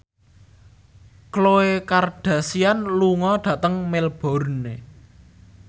Khloe Kardashian lunga dhateng Melbourne